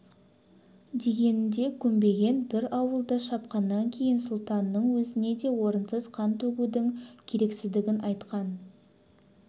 дегеніне көнбеген бір ауылды шапқаннан кейін сұлтанның өзіне де орынсыз қан төгудің керексіздігін айтқан